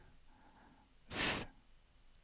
S